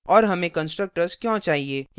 और हमें constructors क्यों चाहिए